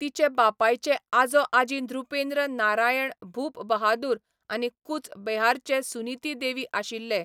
तिचे बापायचे आजो आजी नृपेन्द्र नारायण भूपबहादूर आनी कूच बेहारचे सुनीती देवी आशिल्ले.